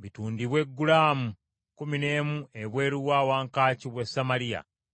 bitundibwe gulaamu kkumi n’emu ebweru wa wankaaki w’e Samaliya.”